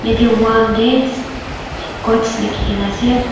yatae wall tae quotes likhikaena ase.